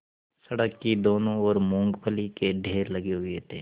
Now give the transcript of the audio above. सड़क की दोनों ओर मूँगफली के ढेर लगे हुए थे